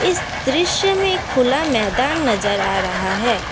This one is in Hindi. इस दृश्य में खुला मैदान नजर आ रहा है।